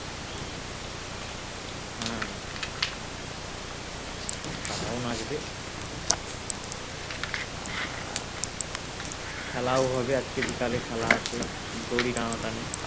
তারাও নাচবে আর খেলাও হবে আজকে বিকেলে খেলা আছে দড়ি টানাটানি